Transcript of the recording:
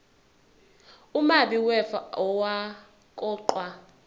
umabi wefa owaqokwa